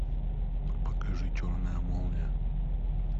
покажи черная молния